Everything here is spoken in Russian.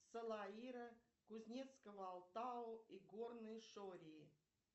салаира кузнецкого алатау и горной шории